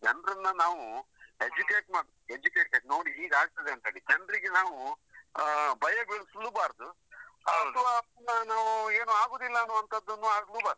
ಜನ್ರನ್ನ ನಾವು educate ಮಾಡ್ educated ನೋಡಿ ಹೇಗಾಗ್ತದಂತೇಳಿ, ಜನ್ರಿಗೆ ನಾವು ಆ ಭಯ ಬೀಳಿಸ್ಲೂ ಬಾರ್ದು. ಅಥ್ವಾ ಪುನ ನಾವು ಏನು ಆಗುದಿಲ್ಲ ಅನ್ನುವಂತದ್ದನ್ನು ಆಗ್ಲೂ ಬಾರ್ದು.